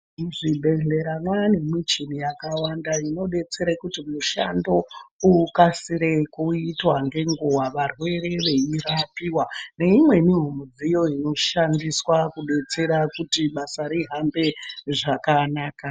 Muzvibhedhlera mwane michini yakawanda inodetsera kuti mushando ukasire kuitwa ngenguwa varwere veirapiwa neimweniwo midziyo inoshandiswa kudetsera kuti basa rihambe zvakanaka